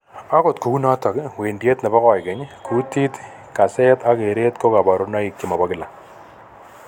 Agot kou notok, wendiet nebo koigeny', kutit, kaset ak keret ko kabarunoik chemobokkila